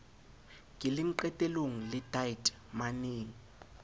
keleng qetelong le dite maneng